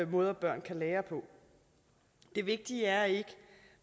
måder børn kan lære på det vigtige er ikke